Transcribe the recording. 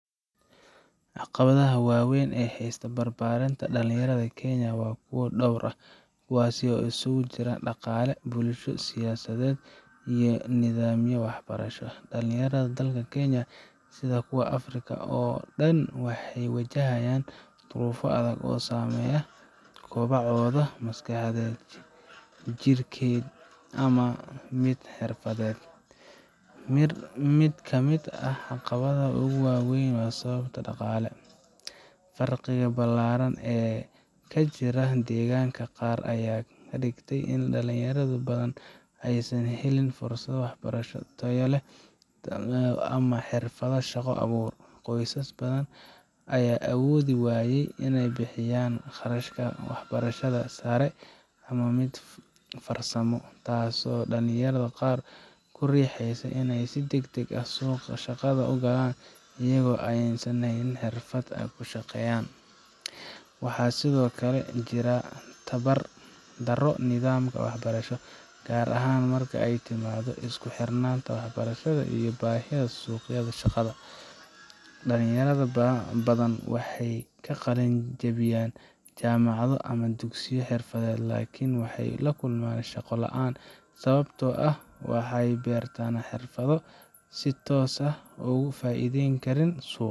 Caqabadaha waaweyn ee haysta barbaarinta dhalinyarada ee Kenya waa kuwo dhowr ah, kuwaas oo isugu jira dhaqaale, bulsho, siyaasadeed iyo nidaamyo waxbarasho. Dhalinyarada dalka Kenya sida kuwa Afrika oo dhan waxay wajahayaan duruufo adag oo saameeya kobacooda maskaxeed, jidheed, iyo mid xirfadeed. Mid ka mid ah caqabadaha ugu waa weyn waa sababta dhaqaale. Faqriga ballaaran ee ka jira deegaanada qaar ayaa ka dhigtay in dhalinyaro badan aysan helin fursado waxbarasho oo tayo leh ama xirfado shaqo abuur. Qoysas badan ayaa awoodi waaya inay bixiyaan kharashka waxbarashada sare ama mid farsamo, taasoo dhalinyarada qaar ku riixaysa inay si deg deg ah suuqa shaqada u galaan iyagoo aan haysan xirfad ay ku shaqeeyaan. Waxaa sidoo kale jira tabar darro nidaamka waxbarasho, gaar ahaan marka ay timaado isku xirnaanta waxbarashada iyo baahida suuqa shaqada. Dhalinyaro badan waxay ka qalin jabiyaan jaamacado ama dugsiyo xirfadeed, laakiin waxay la kulmaan shaqo la’aan sababtoo ah waxay bartaan xirfado aan si toos ah uga faa’iideyn karin suuqa.